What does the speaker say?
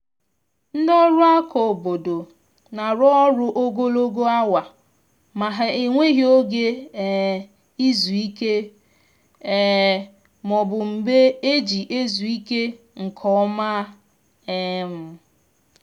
ndị ọrụ aka obodo na-arụ ọrụ ogologo awa ma ha enweghi oge um izu ike um ma ọ bụ mgbe eji ezu ike nke ọma um